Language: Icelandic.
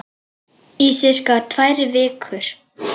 Í sirka tvær vikur.